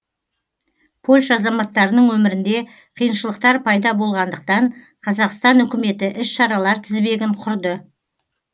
польша азаматтарының өмірінде қиыншылықтар пайда болғандықтан қазақстан үкіметі іс шаралар тізбегін құрды